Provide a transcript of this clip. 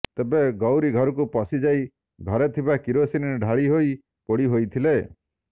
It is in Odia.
ତେବେ ଗୌରୀ ଘରକୁ ପଶିଯାଇ ଘରେ ଥିବା କିରୋସିନ ଢାଳିହୋଇ ପୋଡିହୋଇଥିଲେ